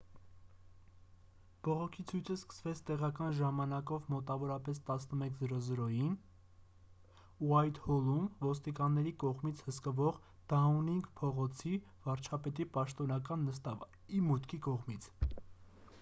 բողոքի ցույցը սկսվեց տեղական ժամանակով մոտավորապես 11։00-ին utc+1 ուայթհոլում՝ ոստիկանների կողմից հսկվող դաունինգ փողոցի՝ վարչապետի պաշտոնական նստավայրի մուտքի դիմացից: